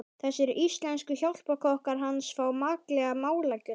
Þessir íslensku hjálparkokkar hans fá makleg málagjöld.